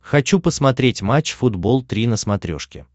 хочу посмотреть матч футбол три на смотрешке